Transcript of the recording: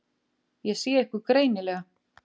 Ég sé ykkur greinilega.